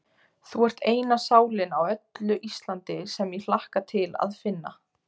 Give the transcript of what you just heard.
Þú ert eina sálin á öllu Íslandi, sem ég hlakka til að finna.